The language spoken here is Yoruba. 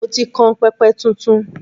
Mo ti kan pẹpẹ tuntun.